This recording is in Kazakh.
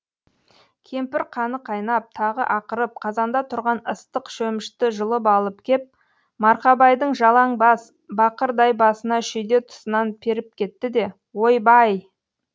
кемпір қаны қайнап тағы ақырып қазанда тұрған ыстық шөмішті жұлып алып кеп марқабайдың жалаң бас бақырдай басына шүйде тұсынан періп кетті де ойбай